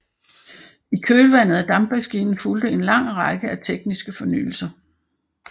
I kølvandet af dampmaskinen fulgte en lang række andre tekniske fornyelser